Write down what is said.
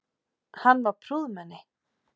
Hann var prúðmenni.